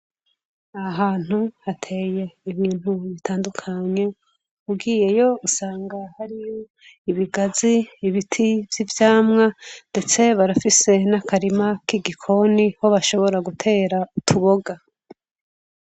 Ahantu hateye ibintu bitandukanye. Ugiyeyo usanga hariyo ibigazi, ibiti vy'ivyamwa, ndetse barafise n'akarima k'igikoni, aho bashobora gutera utuboga.